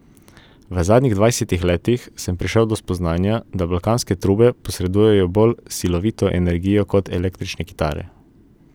V zadnjih dvajsetih letih sem prišel do spoznanja, da balkanske trube posredujejo bolj silovito energijo kot električne kitare.